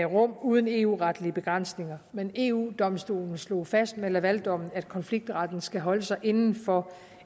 rum uden eu retlige begrænsninger men eu domstolen slog fast med lavaldommen at konfliktretten skal holde sig inden for